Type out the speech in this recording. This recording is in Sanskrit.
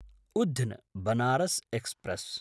उध्न् बनारस् एक्स्प्रेस्